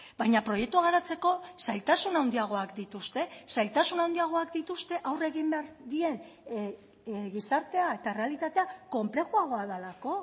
baina proiektua garatzeko zailtasun handiagoak dituzte zailtasun handiagoak dituzte aurre egin behar dien gizartea eta errealitatea konplexuagoa delako